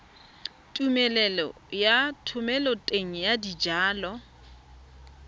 tumelelo ya thomeloteng ya dijalo